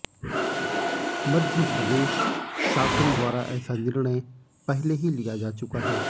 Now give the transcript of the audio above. मध्य प्रदेश शासन द्वारा ऐसा निर्णय पहले ही लिया जा चुका है